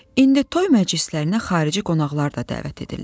İndi toy məclislərinə xarici qonaqlar da dəvət edirlər.